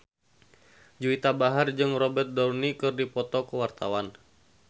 Juwita Bahar jeung Robert Downey keur dipoto ku wartawan